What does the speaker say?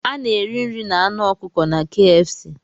A na-eri nri na anụ ọkụkọ na KFC